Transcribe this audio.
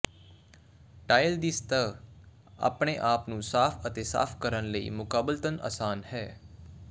tile ਦੀ ਸਤਹ ਆਪਣੇ ਆਪ ਨੂੰ ਸਾਫ ਅਤੇ ਸਾਫ਼ ਕਰਨ ਲਈ ਮੁਕਾਬਲਤਨ ਆਸਾਨ ਹੈ